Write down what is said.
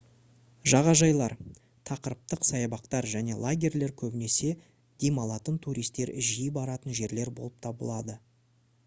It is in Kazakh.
жағажайлар тақырыптық саябақтар және лагерьлер көбінесе демалатын туристер жиі баратын жерлер болып табылады